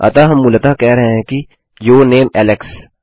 अतः हम मूलतः कह रहे हैं कि यूर नामे एलेक्स